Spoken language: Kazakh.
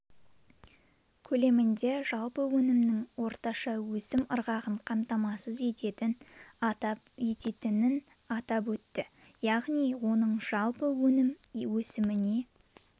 көлемінде жалпы өнімнің орташа өсім ырғағын қамтамасыз ететінін атап өтті яғни оның жалпы өнім өсіміне